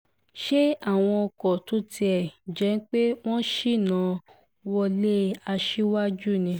ṣe àwọn ọkọ tó tiẹ̀ tún jẹ́ pé wọ́n ṣínà wọlé aṣíwájú ni